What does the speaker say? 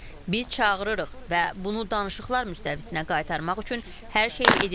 Biz çağırırıq və bunu danışıqlar müstəvisinə qaytarmaq üçün hər şeyi edirik.